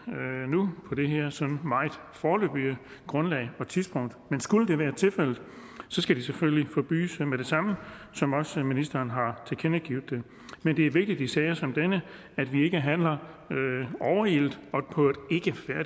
nu på det her sådan meget foreløbige grundlag og tidspunkt men skulle det være tilfældet skal det selvfølgelig forbydes med det samme som også ministeren har tilkendegivet men det er vigtigt i sager som denne at vi ikke handler overilet og på